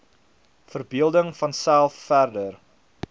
verbeelding vanself verder